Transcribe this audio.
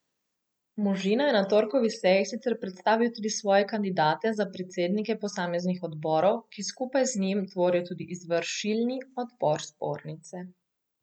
Možina je na torkovi seji sicer predstavil tudi svoje kandidate za predsednike posameznih odborov, ki skupaj z njim tvorijo tudi izvršilni odbor zbornice.